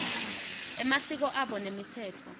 emasiko abo nemitsetfo